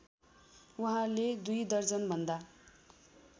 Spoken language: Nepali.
उहाँले दुई दर्जनभन्दा